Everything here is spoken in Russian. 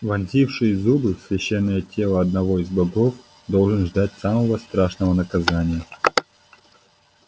вонзивший зубы в священное тело одного из богов должен ждать самого страшного наказания